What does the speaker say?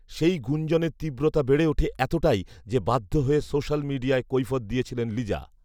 সেই গুঞ্জনের তীব্রতা বেড়ে ওঠে এতটাই যে বাধ্য হয়ে সোশ্যাল মিডিয়ায় কৈফিয়ৎ দিয়েছিলেন লিজা